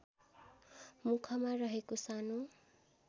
मुखमा रहेको सानो